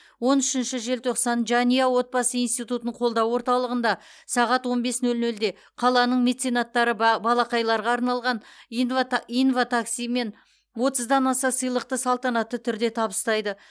он үшінші желтоқсан жанұя отбасы институтын қолдау орталығында сағат он бес нөл нөлде қаланың меценаттары ба балақайларға арналған инва инватакси мен отыздан аса сыйлықты салтанатты түрде табыстайды